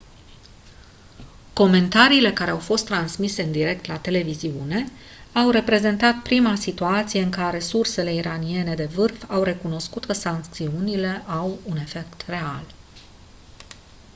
comentariile ce au fost transmise în direct la televiziune au reprezentat prima situație în care sursele iraniene de vârf au recunoscut că sancțiunile au un efect real